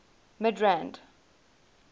midrand